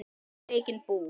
Og mikinn búk.